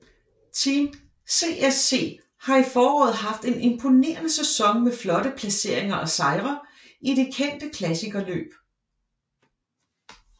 Team CSC har i foråret haft en impornerende sæson med flotte placeringer og sejre i de kendte klassiker løb